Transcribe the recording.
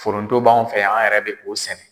Foronto b'anw yɛrɛ fɛ yan anw yɛrɛ bɛ k'o sɛnɛ.